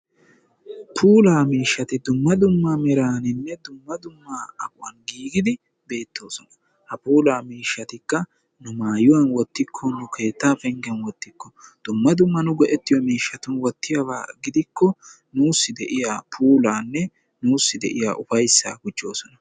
Puula miishshati dumma dumma meraninne dumma dumma aquwan giigidi beettoosona. ha puulaakka miishshati nu maayuwan wottikko, nu keetta penggen wottikko dumma dumma nu go'etiyo miishshatun wottiyooba gidikko nussi de'iyaa puulanne ufayssa gujjoosona.